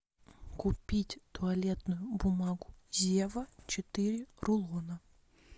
купить туалетную бумагу зева четыре рулона